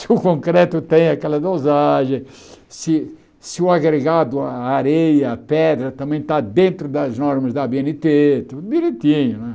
Se o concreto tem aquela dosagem, se se o agregado, a a areia, a pedra, também está dentro das normas da á bê êne tê, tudo direitinho né.